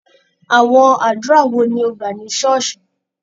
Àwọn àdúrà wo ni o gbà ní ṣọ́ọ̀ṣì?